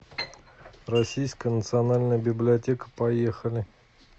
российская национальная библиотека поехали